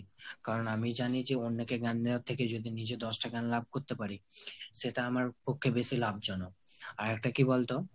কারণ আমি জানি যে অন্যকে জ্ঞান দেয়ার থেকে যদি নিজে দশটা জ্ঞান লাভ করতে পারি সেটা আমার পক্ষে বেশি লাভজনক। আরেকটা কি বলতো